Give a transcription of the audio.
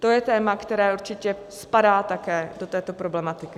To je téma, které určitě spadá také do této problematiky.